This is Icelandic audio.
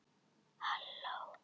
Að minnsta kosti kvenpeningnum.